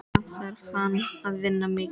Samt þarf hann að vinna mikið.